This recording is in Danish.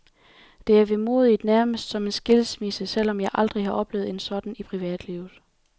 Det er vemodigt, nærmest som en skilsmisse, selv om jeg aldrig har oplevet en sådan i privatlivet.